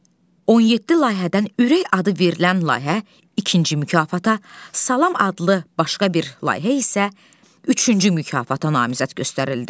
17 layihədən "ürək" adı verilən layihə ikinci mükafata, "salam" adlı başqa bir layihə isə üçüncü mükafata namizəd göstərildi.